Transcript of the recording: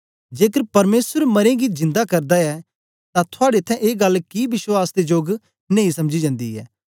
जेकर परमेसर मरें गी जिंदा करदा ऐ तां थुआड़े इत्थैं ए गल्ल कि विश्वास दे जोग नेई समझी जंदी